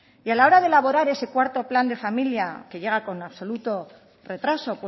y a la hora de elaborar este cuarto plan de familia que llega con absoluto retraso